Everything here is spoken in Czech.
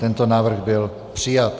Tento návrh byl přijat.